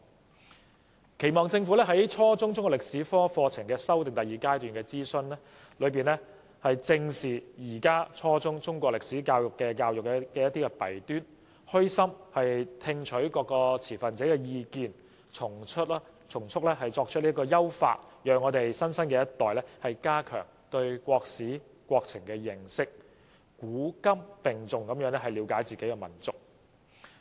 我期望政府在初中中國歷史科課程修訂第二階段進行諮詢時，正視現時初中中國歷史教育的弊端，虛心聽取各持份者的意見，從速採取優化措施，讓新生一代加強對國史國情的認識，古今並重地了解自己的民族。